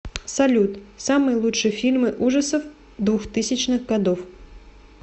салют самые лучшие фильмы ужасов двухтысячных годов